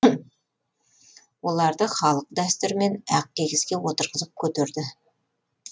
оларды халық дәстүрімен ақ киізге отырғызып көтерді